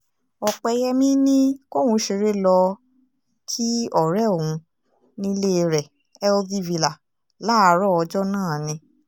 ọ̀pẹyẹmi ni kóun ṣeré lọ́ọ́ kí ọ̀rẹ́ òun nílé rẹ̀ healthy villa láàárọ̀ ọjọ́ náà ni